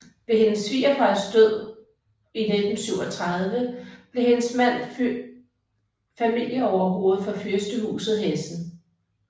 Ved hendes svigerfars død i 1937 blev hendes mand familieoverhovede for fyrstehuset Hessen